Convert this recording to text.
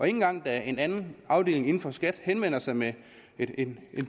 engang da en anden afdeling inden for skat henvender sig med en